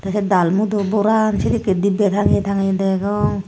tey dalmut borar sedekkey dibbey tangeye tangeye degong.